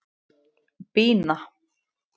Bína